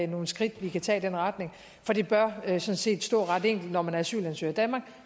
nogle skridt vi kan tage i den retning for det bør sådan set stå ret enkelt at når man er asylansøger i danmark